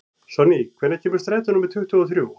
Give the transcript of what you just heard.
Sonný, hvenær kemur strætó númer tuttugu og þrjú?